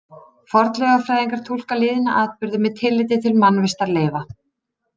Fornleifafræðingar túlka liðna atburði með tilliti til mannvistarleifa.